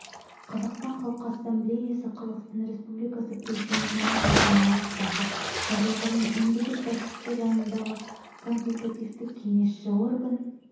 қазақстан халқы ассамблеясы қазақстан республикасы президентінің жылғы наурыздағы жарлығымен мемлекет басшысы жанындағы консультативтік-кеңесші орган